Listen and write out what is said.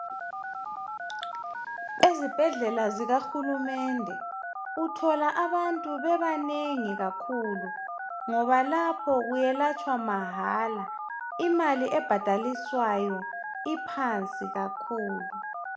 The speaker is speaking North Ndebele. Ezibhedlela zikahulumende uthola abantu bebanengi kakhulu ngoba lapho kuyelatshwa mahala imali ebhadaliswayo iphansi kakhulu